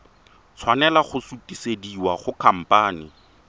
tshwanela go sutisediwa go khamphane